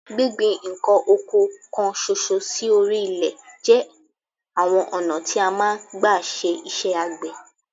Gbíngbin nǹkan oko kan ṣoṣo sí orí ilẹ̀ jẹ́ àwọn ọ̀nà tí a máa ń gba ṣe iṣẹ́ àgbẹ̀